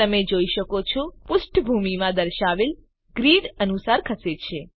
તમે જોઈ શકો છો કે કમ્પોનેન્ટ પુષ્ઠભૂમિમાં દર્શાવેલ ગ્રિડ અનુસાર ખસે છે